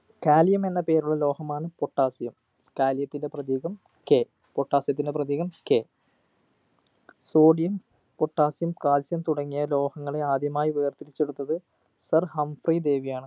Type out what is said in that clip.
kalium എന്ന പേരുള്ള ലോഹമാണ് potassiumkalium ത്തിന്റെ പ്രതീകം kpotassium ത്തിന്റെ പ്രതീകം sodium potassium calcium തുടങ്ങിയ ലോഹങ്ങളെ ആദ്യമായി വേർതിരിച്ചെടുത്തത് sir ഹംഫ്രി ഡേവിയാണ്